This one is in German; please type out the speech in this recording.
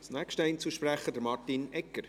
Als erster Einzelsprecher, Martin Egger.